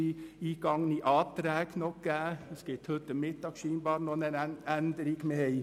Offenbar gibt es sogar noch heute Mittag einen Änderungsantrag.